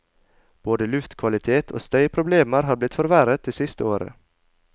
Både luftkvalitet og støyproblemer har blitt forverret det siste året.